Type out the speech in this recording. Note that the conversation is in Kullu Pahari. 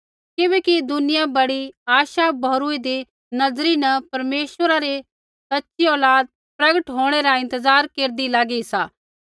किबैकि दुनिया बड़ी आशा भौरुइदी नज़रा न परमेश्वरा री सच़ी औलाद प्रगट होंणै रा इंतज़ार केरदी लागी सा